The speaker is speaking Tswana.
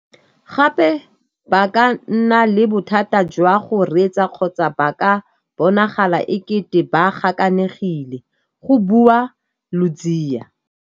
Gape ba ka nna le bothata jwa go reetsa kgotsa ba ka bonagala e kete ba gakanegile, go bua Ludziya.